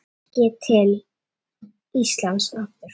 Kannski til Íslands aftur?